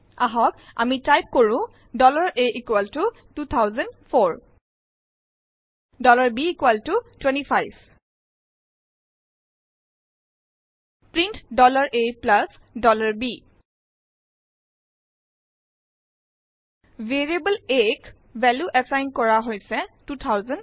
আহক আমি টাইপ কৰো a 2004 b 25 print a b variable a ক ভেলিউ এছাইন কৰা হৈছে 2004